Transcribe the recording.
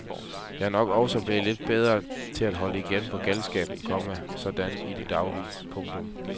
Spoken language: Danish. Jeg er nok også blevet lidt bedre til at holde igen på galskaben, komma sådan i det daglige. punktum